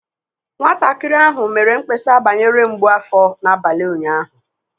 Nwatakịrị ahụ mere mkpesa banyere mgbu afọ n'abalị ụnyaahụ